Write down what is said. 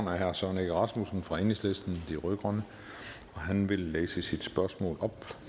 er herre søren egge rasmussen fra enhedslisten de rød grønne han vil læse sit spørgsmål